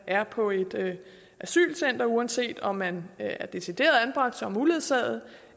er på et asylcenter uanset om man er decideret anbragt som uledsaget